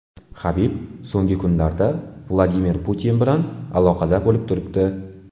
Habib so‘nggi kunlarda Vladimir Putin bilan aloqada bo‘lib turibdi.